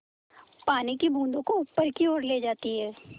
पानी की बूँदों को ऊपर की ओर ले जाती है